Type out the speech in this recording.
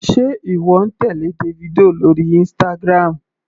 Sé ìwọ ń tèlé Davido lórí Instagram.